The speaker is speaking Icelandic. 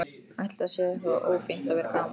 Ætli það sé eitthvað ófínt að vera gamall?